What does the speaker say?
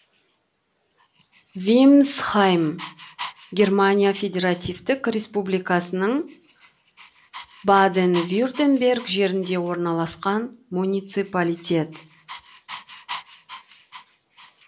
вимсхайм германия федеративтік республикасының баден вюртемберг жерінде орналасқан муниципалитет